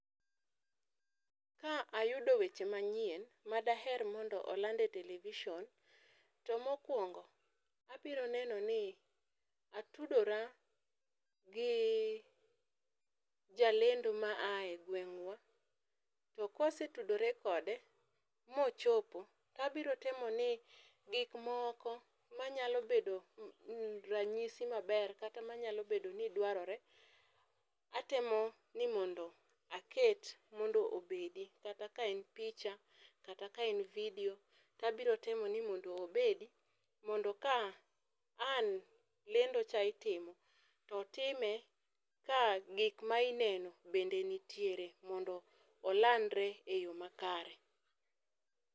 Ka ayudo weche ma nyien ma daher ni iland e television ,to mokuongo abiro neno ni atudora gi jalendo ma a e gweng'wa, to ka wesetudore kode mo chopo, to abiro temo ni gik moko ma nyalo bedo ranyisi ma ber kata ma nyalo bedo ni dwarore, atemo ni mondo gi mondo obed kata ka en picha kata ka en video, to abiro temo ni mondo obedi mondo ka ang' lendo cha itimo to otime ka gik ma ineno bende nitiere mondo olandre e yo makare